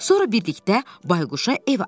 Sonra birlikdə bayquşa ev axtararıq.